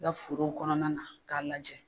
I ka forow kɔnɔna na k'a lajɛ